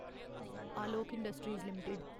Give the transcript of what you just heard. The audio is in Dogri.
Alok industries limited